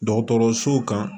Dɔgɔtɔrɔsow kan